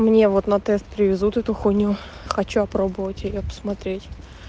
мне вот на тест привезут эту хуйню хочу опробовать её посмотреть